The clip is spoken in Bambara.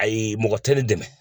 Ayi mɔgɔ tɛ ne dɛmɛ